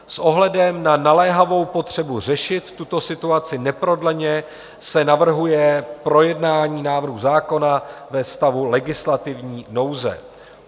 S ohledem na naléhavou potřebu řešit tuto situaci neprodleně se navrhuje projednání návrhu zákona ve stavu legislativní nouze.